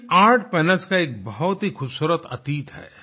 इन art panels का एक बहुत ही खूबसूरत अतीत है